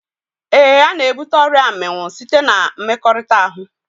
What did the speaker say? Éè, ana ebute ọrịa mminwụ site na mmekọrịta ahụ